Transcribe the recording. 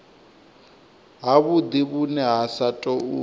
havhudi vhune ha sa tou